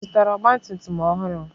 Ị zụtara ọgba tum tum ọhụrụ?